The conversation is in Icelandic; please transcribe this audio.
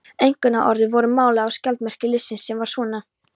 Einkunnarorðin voru máluð á skjaldarmerki liðsins, sem var svona